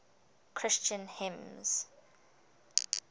christian hymns